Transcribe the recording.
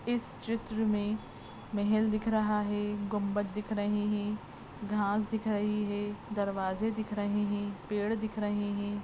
इस चित्र में महल दिख रहा है गुंबत दिख रहें है घास दिख रही है दरवाजे़ दिख रहे है पेड़ दिख रहें है।